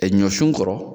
Ɛ ɲɔsun kɔrɔ